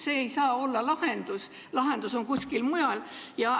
See ei saa olla lahendus, lahendus on kuskil mujal.